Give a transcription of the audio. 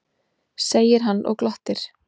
segir hann og glottir.